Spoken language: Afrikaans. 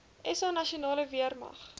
sa nasionale weermag